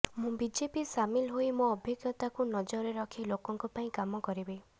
ମୁଁ ବିଜେପି ସାମିଲ ହୋଇ ମୋ ଅଭିଜ୍ଞତାକୁ ନଜରରେ ରଖି ଲୋକଙ୍କ ପାଇଁ କାମ କରିବି